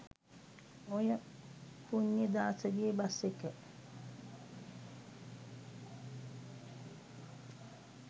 ඔය පුණ්‍යදාසගේ බස් එක